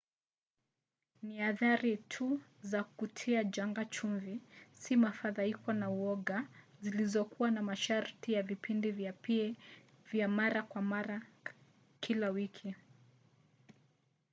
ni athari tu za kutia janga chumvi si mafadhaiko na uoga zilizokuwa na masharti ya vipindi vya pa vya mara kwa mara kila wiki